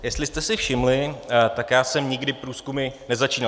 Jestli jste si všimli, tak já jsem nikdy průzkumy nezačínal.